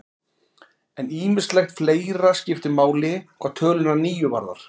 En ýmislegt fleira skiptir máli hvað töluna níu varðar.